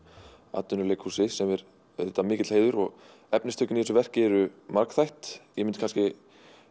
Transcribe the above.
atvinnuleikhúsi sem er auðvitað mikill heiður efnistökin í þessu verki eru margþætt ég myndi kannski